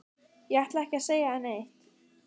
Ég ætla ekki að selja þér neitt.